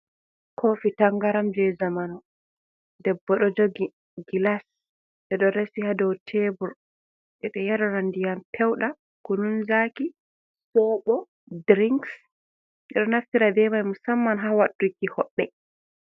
Kofi tangaram je zamanu, debbo ɗo jogi gilas ɓe ɗo resi ha dou tebur, ɓe do yarira ndiyam pewdum, kunun zaki, sobo, drinks, ɓe ɗo do naftira ɓe man musamman ha wadduki hoɓɓe.